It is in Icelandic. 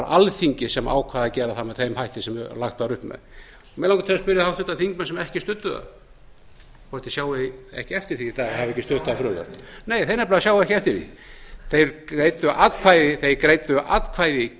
alþingi sem ákvað að gera það með þeim hætti sem lagt var upp með mig langar til að spyrja háttvirtir þingmenn sem ekki studdu það hvort þeir sjái ekki eftir því í dag að hafa ekki stutt það frumvarp nei þeir nefnilega sjá ekki eftir því þeir greiddu atkvæði